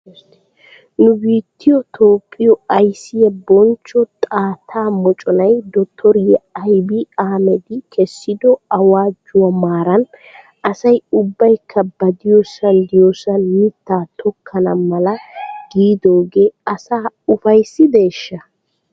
Nu biittiyo Toophphiyo aysiyaa bonchcho xaatta moconay dotoriyaa abiy ahmadi kessido awaajjuwaa maaran asay ubbaykka ba diyoosan diyoosan mitaa tokkana mala giidoogee asaa ufayssideeshsha?